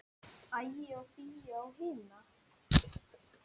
Ægi og Fíu á hina.